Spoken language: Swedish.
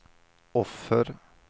offer